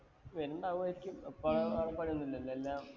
വരുംണ്ടാവുവായിരിക്കും. ഇപ്പഴാ എപ്പളാ ഒന്നുമില്ലല്ലോ. എല്ലാം